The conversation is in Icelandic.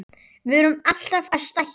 Við erum alltaf að stækka.